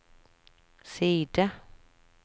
side